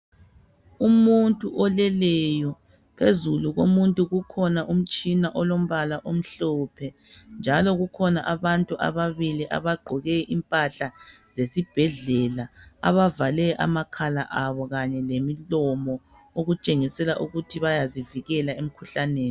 Umuntu oleleyo. Phezulu komuntu kukhona umtshina olombala omhlophe njalo kukhona abantu ababili abagqoke impahla zesibhedlela. Abavale amakhala abo kanye lemilomo okutshengisela ukuthi bayazivikela emkhuhlaneni.